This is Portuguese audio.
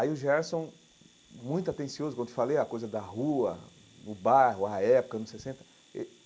Aí o Gerson, muito atencioso, como eu te falei, a coisa da rua, o bairro, a época, anos sessenta.